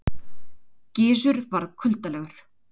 Gizur varð kuldalegur.